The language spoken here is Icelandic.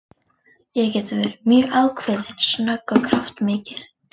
Ég get verið mjög ákveðin, snögg og kraftmikil.